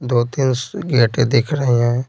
दो-तीन गेट दिख रहे हैं।